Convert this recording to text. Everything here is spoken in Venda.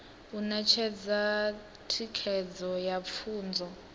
u ṋetshedza thikedzo ya pfunzo